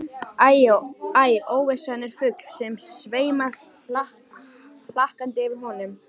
Æ, óvissan er fugl sem sveimar hlakkandi yfir honum.